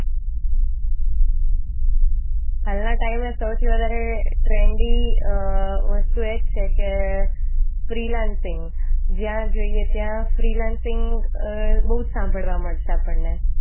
હાલના ટાઈમે સૌથી વધારે ટ્રેન્ડી વસ્તુ એ છે કે ફ્રી લાન્સિંગ જ્યાં જઈએ ત્યાં ફ્રી લાન્સિંગ બહુ જ સાંભળવા મળશે આપણે.